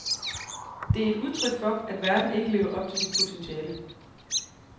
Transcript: Det et udtryk for, at verden ikke lever op til sit potentiale.